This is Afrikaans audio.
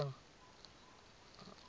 tolvrye hulplyn